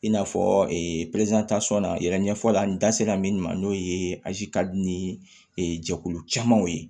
I n'a fɔ na yɛrɛ ɲɛfɔli la n da sera min ma n'o ye ka di ni jɛkulu camanw ye